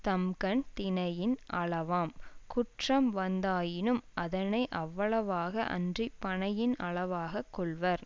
தம்கண் தினையின் அளவாம் குற்றம் வந்ததாயினும் அதனை அவ்வளவாக அன்றி பனையின் அளவாக கொள்வர்